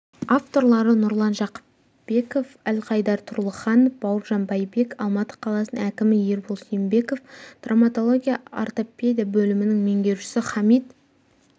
авторлары нұрлан жақыпбеков альхайдар тұрлыханов бауыржан байбек алматы қаласының әкімі ербол сембеков травматология-ортопедия бөлімінің меңгерушісі хамит